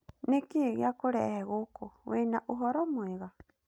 Nĩkĩ giakũrehe gũkũ, wĩna ũhoro mwega?